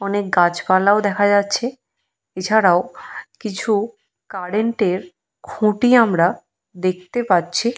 অনেক গাছ পালাও দেখা যাচ্ছে। এছাড়াও কিছু কারেন্টের খুঁটি আমরা দেখতে পাচ্ছি।